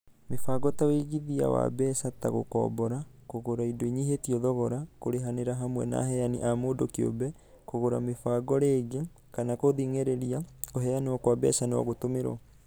Mibango ta ũigithia wa mbeca ta gũkombora, kũgũra indo inyihĩtio thogora, kũrĩhanĩra hamwe na aheani a mũndũ kĩũmbe, kũgũra mĩbango rĩngĩ, kana gũthing'ĩrĩria kũheanwo kwa mbeca no gũtũmĩrwo.